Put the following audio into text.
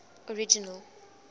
original